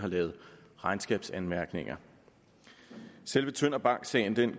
lavet regnskabsanmærkninger selve tønder bank sagen